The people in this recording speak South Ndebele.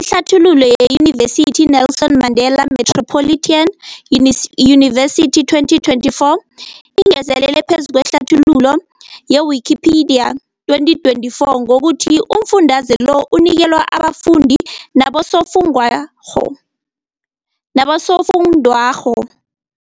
Ihlathululo yeYunivesithi i-Nelson Mandela Metropolitan Unis University, 2024, ingezelele phezu kwehlathululo ye-Wikipedia, 2024, ngokuthi umfundaze lo unikelwa abafundi nabosofundwakgho nabosofundwakgho..